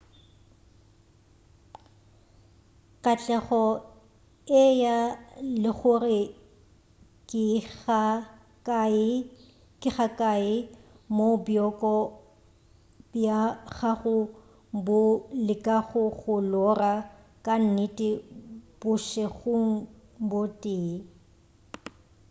katlego e ya le gore ke ga kae moo bjoko bja gago bo lekago go lora ka nnete bošegong bo tee